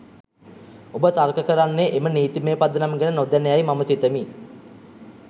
ඔබ තර්ක කරන්නේ එම නීතිමය පදනම ගැන නොදැන යයි මම සිතමි.